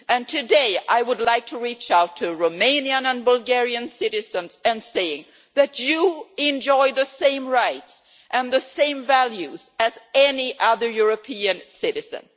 Today, I would like to reach out to Romanian and Bulgarian citizens and say that you enjoy the same rights and the same values as any other European citizen!